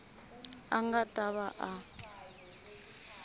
a nga ta va a